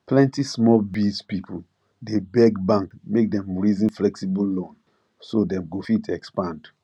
plenty small biz people dey beg bank make dem reason flexible loan so dem go fit expand